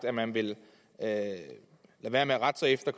at man vil lade være med at rette sig efter